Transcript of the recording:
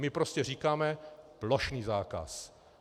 My prostě říkáme: plošný zákaz!